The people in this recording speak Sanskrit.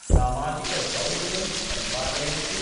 सामाजिकदौर्यं परिपालयन्तु,